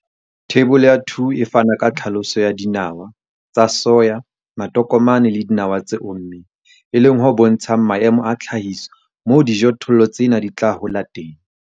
Theibole ya 2 e fana ka tlhaloso ya dinawa tsa soya, matokomane le dinawa tse ommeng, e leng ho bontshang maemo a tlhahiso moo dijothollo tsena di tla hola hantle.